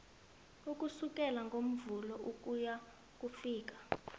ukusukela ngomvulo ukuyokufika